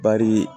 Bari